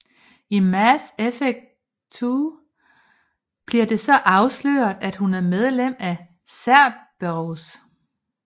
I Mass Effect 2 bliver det så afsløret at hun er et medlem af Cerberus